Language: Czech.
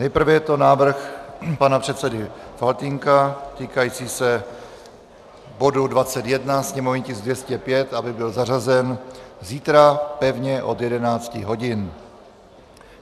Nejprve je to návrh pana předsedy Faltýnka týkající se bodu 21, sněmovní tisk 205, aby byl zařazen zítra pevně od 11 hodin.